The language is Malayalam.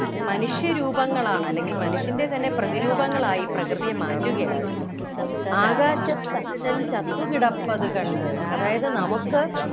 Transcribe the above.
മനുഷ്യരൂപങ്ങളാണ് അല്ലെങ്കിൽ മനുഷ്യൻ്റെ തന്നെ പ്രതിരൂപങ്ങളായി പ്രകൃതിയെ മാറ്റുകയാണ് കവി ആകാശത്തച്ഛൻ ചത്തുകിടപ്പതു കണ്ടു അതായത് നമുക്ക്